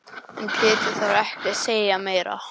En Pétur þarf ekki að segja meira.